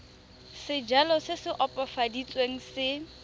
sejalo se se opafaditsweng se